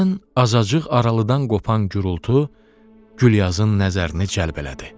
Birdən azacıq aralıdan qopan gurultu Gülyazın nəzərini cəlb elədi.